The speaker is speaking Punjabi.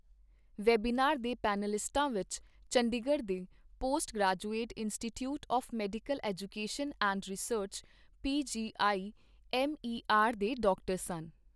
ਵੈਬੀਨਾਰ ਦੇ ਪੈਨਲਿਸਟਾਂ ਵਿੱਚ ਚੰਡੀਗੜ੍ਹ ਦੇ post graduate institute of medical education and research PGIMER ਦੇ ਡਾ. ਸਨ।